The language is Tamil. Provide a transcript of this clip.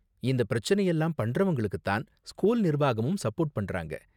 இந்த பிரச்சனை எல்லாம் பண்றவங்களுக்கு தான் ஸ்கூல் நிர்வாகமும் சப்போர்ட் பண்றாங்க.